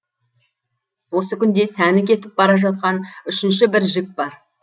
осы күнде сәні кетіп бара жатқан үшінші бір жік бар